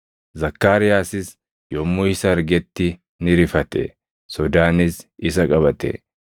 Zakkaariyaasis yommuu isa argetti ni rifate; sodaanis isa qabate.